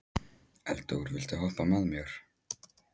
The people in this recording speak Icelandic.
Eldór, viltu hoppa með mér?